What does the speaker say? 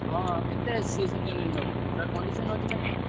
ହଁ କେତେ ଅଛି ସେ second hand ନବ ପୁରା condition ଅଛି ନା ଠିକ ।